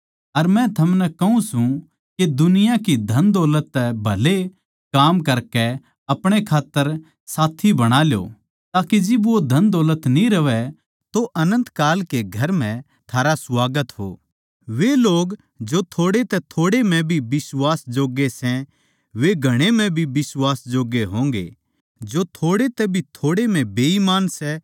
अर मै थमनै कहूँ सूं के दुनिया की धनदौलत तै भले काम करकै अपणे खात्तर साथी बणा ल्यो ताके जिब वो धन दौलत न्ही रहवैं तो अनन्त काल के घर म्ह थारै स्वागत हो